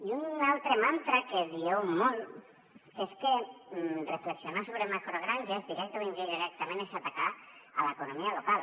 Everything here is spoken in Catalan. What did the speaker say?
i un altre mantra que dieu molt és que reflexionar sobre macrogranges directament o indirectament és atacar l’economia local